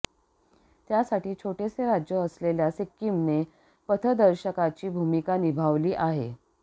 त्यासाठी छोटेसे राज्य असलेल्या सिक्कीमने पथदर्शकाची भूमिका निभावली आहे